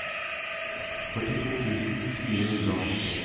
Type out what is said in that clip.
førtito tusen fire hundre og førti